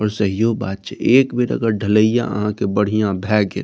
पर सहिए बात छै एक बेर ढलाईयां अहां के बढ़िया भए गेल --